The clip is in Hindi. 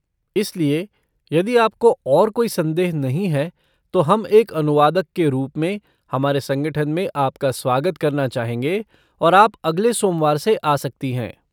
इसलिए, यदि आपको और कोई संदेह नहीं है तो हम एक अनुवादक के रूप में हमारे संगठन में आपका स्वागत करना चाहेंगे और आप अगले सोमवार से आ सकती हैं।